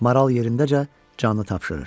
Maral yerindəcə canını tapşırır.